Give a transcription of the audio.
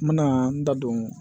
N bɛna n da don